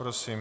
Prosím.